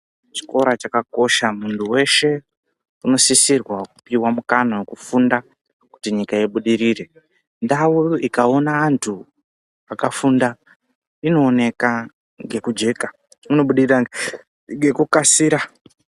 Chikora chakakosha mundu weshe uno sisirwa kupiwa mukana weku funda kuti nyika ibudirire ndau ikaona andu aka funda inooneka ngekujeka ino budirira ngeku kasira.